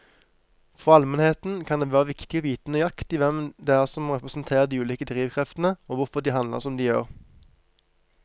For allmennheten kan det være viktig å vite nøyaktig hvem det er som representerer de ulike drivkreftene og hvorfor de handler som de gjør.